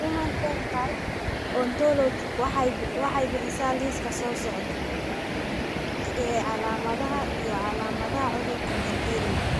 The Human Phenotype Ontology waxay bixisaa liiska soo socda ee calaamadaha iyo calaamadaha cudurka Menetrier.